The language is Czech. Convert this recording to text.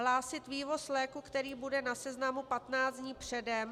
Hlásit vývoz léku, který bude na seznamu, 15 dní předem...